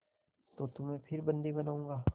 तो तुम्हें फिर बंदी बनाऊँगा